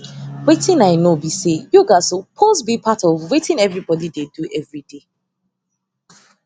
wetin i know be say yoga supose be part of wetin everybody dey do everyday